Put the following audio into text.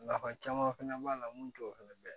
Nafa caman fana b'a la mun t'o fɛnɛ dɔn